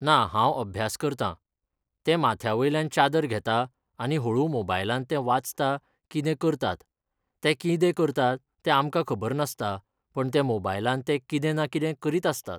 ना हांव अभ्यास करता तें माथ्यावयल्यान चादर घेता आनी होळू मॉबायलान तें वाचता कितें करतात तें कितें करता तें आमकां खबर नासता पण ते मॉबायलान ते कितें ना कितें करीत आसता